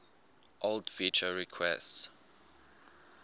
old feature requests